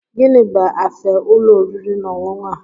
Gịnị bu afe ulo oriri na ọṅụṅụ a?